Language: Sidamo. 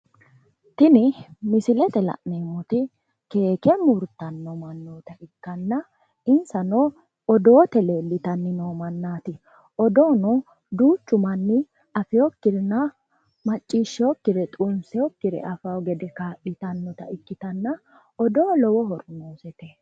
Tini misilete la'neemmoti keeke murtanno mannota ikkanna insano odoote leelitanni noo mannaati odoono duuchu manni afeyookkirenna maccishsheeyookkire xunseyookkire afaayo gede kaa'litannota ikkitanna odoo lowo horo noosete